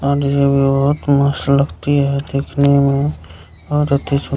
और ये भी बहुत मस्त लगती है देखने में और अति सून --